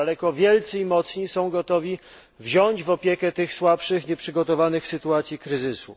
Jak daleko wielcy i mocni są gotowi wziąć pod opiekę tych słabszych, nieprzygotowanych, w sytuacji kryzysu?